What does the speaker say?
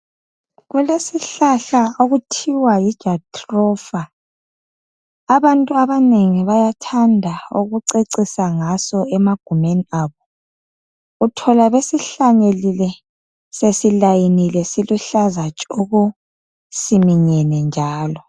Kulesihlahla okuthiwa yijatrofa. Abantu abanengi bayathanda kucecisa ngaso emagumeni abo, uthola sebesihlanyelile silayinile sikuhlaza tshoko, siminyene njalo.